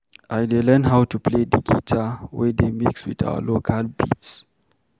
I dey learn how to play the guitar wey dey mix with our local beats.